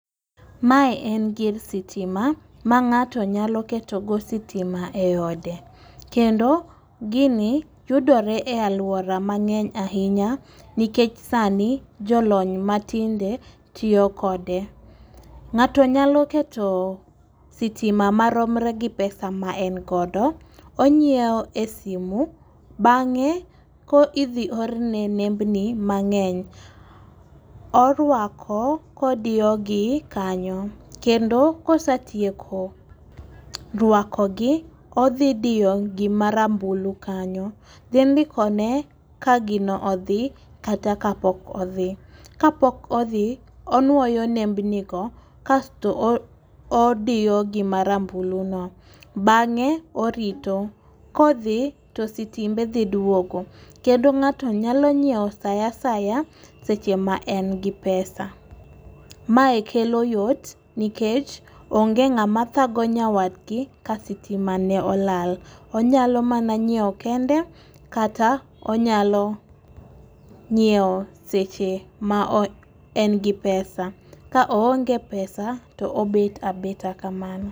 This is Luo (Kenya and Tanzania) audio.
Mae en gir sitima ma ng'ato nyalo keto go sitima e ode kendo gini yudore e aluora mang'eny ahinya nikech sani jolony matinde tiyo kode. Ng'ato nyalo keto sitima maromre gi pesa ma en godo onyiewo e simu v bang'e ko idhi orne nembni mang'eny orwako kodiyo gi kanyo. Kendo kosatieko rwako gi odhi diyo gi marambulu kanyo dhi ndiko ne ka gino odhi kata kapok odhi. Kapok odhi onwoyo nembeni go kasto o odiyo gima rambulu no bang'e orito kodhi to sitimbe dhi duogo kendo ng'ato nyalo nyiewo saa saya seche ma en gi pesa . Mae kelo yot nikech onge ng'ama thago nyawadgi ka sitima ne olal, onyalo mana nyiewo kende kata onyalo nyiewo seche ma o en gi pesa ka oonge pesa to obet abeta kamano.